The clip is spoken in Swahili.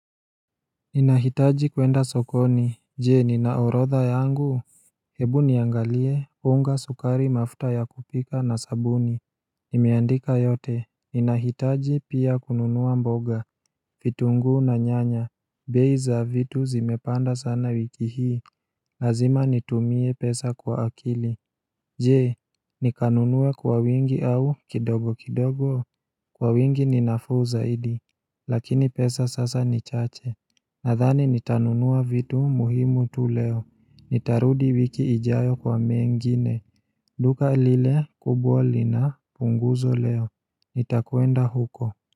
Ninahitaji kwenda sokoni, jee ninaorodha yangu Hebu niangalie, unga sukari mafuta ya kupika na sabuni Nimeandika yote, ninahitaji pia kununua mboga, vitunguu na nyanya, bei za vitu zimepanda sana wiki hii Lazima nitumie pesa kwa akili Jee, nikanunue kwa wingi au kidogo kidogo, kwa wingi ninafuu zaidi Lakini pesa sasa ni chache Nathani nitanunua vitu muhimu tu leo, nitarudi wiki ijayo kwa mengine, duka lile, kubwa lina, punguzo leo, nitakwenda huko.